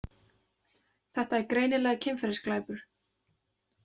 Þetta er greinilega kynferðisglæpur.